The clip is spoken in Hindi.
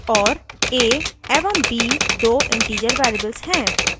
और a एवं b दो integer variables हैं